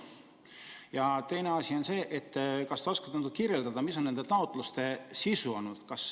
Ja teine asi: kas te oskate kirjeldada, mis on nende taotluste sisu olnud?